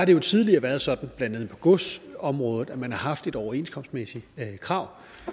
det jo tidligere været sådan blandt andet på godsområdet at man har haft et overenskomstmæssigt krav